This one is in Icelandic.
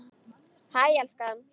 Hæ, elskan.